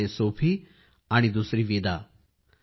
एक आहे सोफी आणि दुसरी विदा